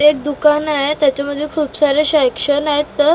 एक दुकान आहे त्याच्यामध्ये खूप सारे सेक्शन आहेत शांपु --